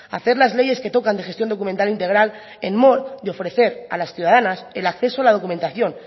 hacer las leyes que tocan de gestión documental integral en mor de ofrecer a las ciudadanas el acceso a la documentación